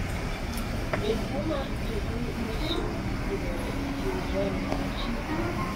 be tuo mar cri du nyslo yudore e kind remo achiel?